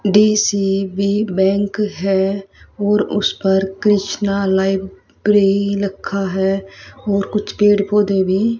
DCB bank है और उस पर कृष्णा लाइब्रेरी लिखा है और कुछ पेड़ पौधे भी--